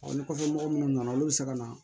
ni kɔfɛ mɔgɔ munnu nana olu bi se ka na